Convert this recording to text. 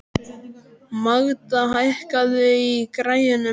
Magda, hækkaðu í græjunum.